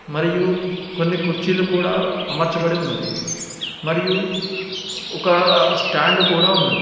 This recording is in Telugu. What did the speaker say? మరియు కొన్ని కుర్చీలు కూడా అమర్చబడి ఉన్నవి మరియు ఒక స్టాండు కూడా ఉన్నది.